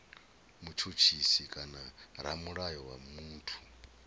mutshutshisi kana ramulayo wa muthu